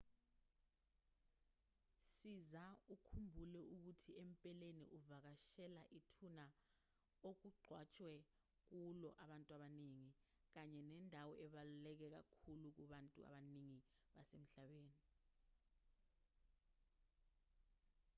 siza ukhumbule ukuthi empeleni uvakashela ithuna okungcwatshwe kulo abantu abaningi kanye nendawo ebaluleke kakhulu kubantu abaningi basemhlabeni